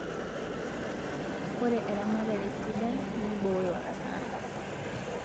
Ore eramatare sidai nibooyo hasara